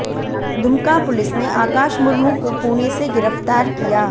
Dumka police ने आकाश मुर्मू को पुणे से गिरफ्तार किया